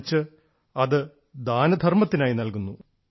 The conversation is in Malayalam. മറിച്ച് അത് ദാനധർമ്മത്തിനായി നൽകുന്നു